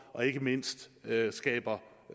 og ikke mindst skaber